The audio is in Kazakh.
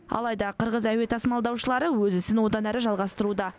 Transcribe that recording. алайда қырғыз әуе тасымалдаушылары өз ісін одан әрі жалғастыруда